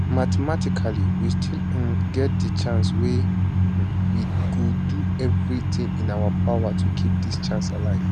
mathematically we still um get chance wey we go do everitin in our power to keep dis chance alive